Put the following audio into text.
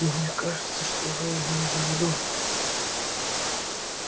но мне кажется что вы имели в виду